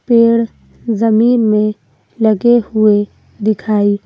पेड़ जमीन में लगे हुए दिखाई--